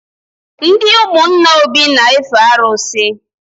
Ndị ụmụnna Obi n efe arụsị